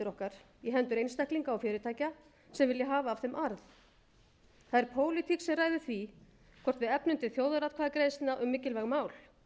okkar í hendur einstaklinga og fyrirtækja sem vilja hafa af þeim arð það er pólitík sem ræður því hvort við efnum til þjóðaratkvæðagreiðslna um mikilvæg mál